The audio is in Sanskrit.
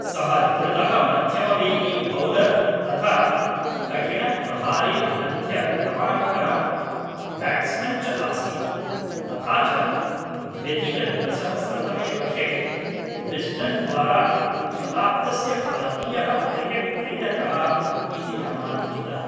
सः द्रुतः मध्यमवेगी बौलर् तथा कठिणप्रहारी मध्यक्रमकः ब्याट्स्मन् च आसीत्, तथा च द्व्यधिकद्विसहस्रतमे वर्षे विस्डेन् द्वारा शताब्दस्य भारतीयः क्रिकेट् क्रीडकः इति नामाङ्कितः।